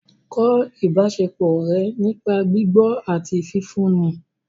Kọ́ ìbáṣepọ̀ ọ̀rẹ́ nípa gbígbọ́ àti fífún un ni